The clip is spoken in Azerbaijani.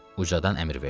Ucaldan əmr verdi.